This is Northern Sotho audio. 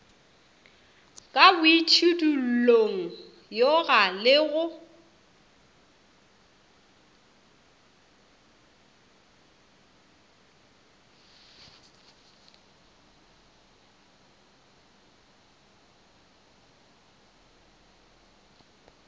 ka boitšhidullong yoga le go